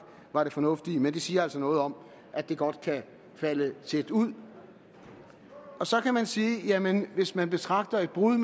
var det fornuftige men det siger altså noget om at det godt kan falde tæt ud så kan man sige jamen hvis man betragter et brud